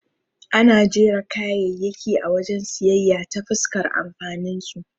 Ana jera kayayyaki a wajen siyayya ta fuskar amfaninsu.